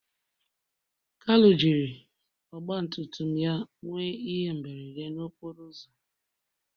kalu jiri Ọgbatumtum ya nwee ihe mberede okporo ụzọ